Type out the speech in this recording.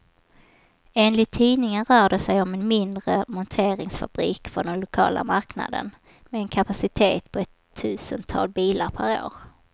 Enligt tidningen rör det sig om en mindre monteringsfabrik för den lokala marknaden, med en kapacitet på ett tusental bilar per år.